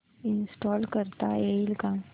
install करता येईल का